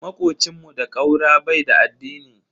Makocin mu da ƙaura bai da addini.